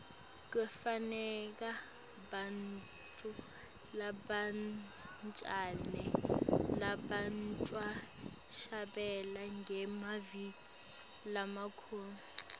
kufuneka bantfu labancane labatawuhlabela ngemavi lamakhulu